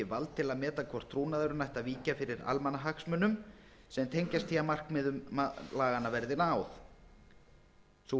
vald til að meta hvort trúnaðurinn ætti að víkja fyrir almannahagsmunum sem tengjast því að markmiðum laganna verði náð sú